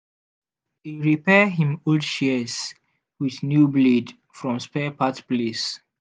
e repair him old shears with new blade from spare part place.